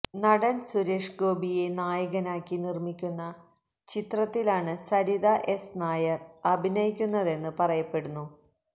നടന് സുരേഷ് ഗോപിയെ നായകനാക്കി നിര്മ്മിക്കുന്ന ചിത്രത്തിലാണ് സരിത എസ് നായര് അഭിനയിക്കുന്നതെന്ന് പറയപ്പെടുന്നു